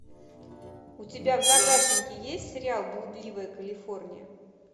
у тебя в загашнике есть сериал блудливая калифорния